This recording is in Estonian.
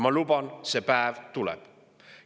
Ma luban, et see päev tuleb.